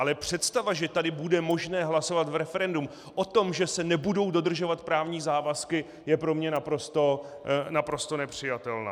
Ale představa, že tady bude možné hlasovat v referendu o tom, že se nebudou dodržovat právní závazky, je pro mě naprosto nepřijatelná.